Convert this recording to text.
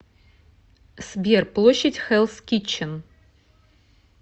сбер площадь хеллс китчен